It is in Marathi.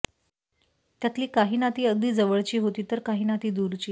त्यातली काही नाती अगदी जवळची होती तर काही नाती दूरची